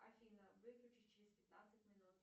афина выключись через пятнадцать минут